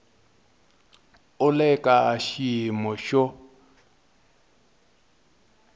u le ka xiyimo xo